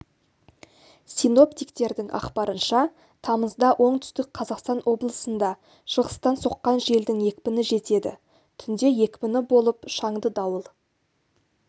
синоптиктердің ақпарынша тамызда оңтүстік қазақстан облысында шығыстан соққан желдің екпіні жетеді түнде екпіні болып шаңды дауыл